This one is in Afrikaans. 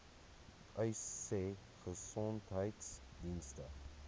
uys sê gesondheidsdienste